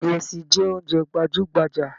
Ìrẹsì jẹ oúnjẹ gbajúgbajà.